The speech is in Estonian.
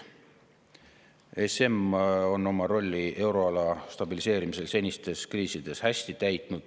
ESM on oma rolli euroala stabiliseerimisel senistes kriisides hästi täitnud.